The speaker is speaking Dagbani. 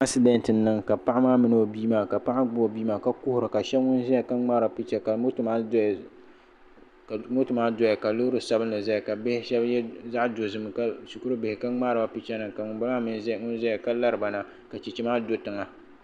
Asidenti n niŋ ka Paɣi maa gbubi o bii maa ka kuhira ka ahɛb n ziya ka mŋari picha ka moto maa doya ka loori sabinli zaya ka bihi ahɛb yiɛ zaɣi dozim shɛkuri bihi ka mŋariba picha nima ka ŋun bala maa im zaya ka lariba na ka chɛchɛ maa do tiŋa.